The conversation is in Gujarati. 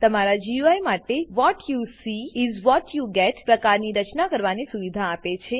તમારા ગુઈ માટે what you see is what you get પ્રકારની રચના કરવાની સુવિધા આપે છે